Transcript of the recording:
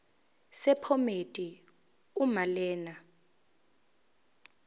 sephomedi uma lena